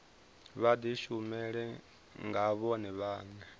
vha dishumele nga vhone vhane